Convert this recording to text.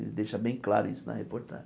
Ele deixa bem claro isso na reportagem.